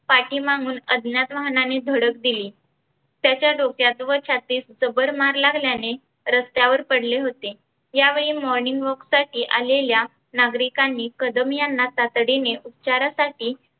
पाठीमाघुन अज्ञात वाहणानी धडक दिली. त्यांच्या डोक्यात व छातीत जबर मार लागल्याने रस्त्यावर पडले होते. यावेळी morning walk साठी आलेल्या नागरीकांनी कदम यांना तातडीने उपचारासाठी